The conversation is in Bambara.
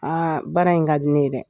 Aa baara in ka di ne ye dɛ